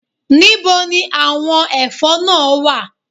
Níbo ni àwọn ẹ̀fọ́ náà wà